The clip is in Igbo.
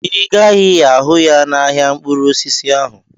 Ị gaghị ahụ ya n'ahịa mkpụrụ osisi ahụ.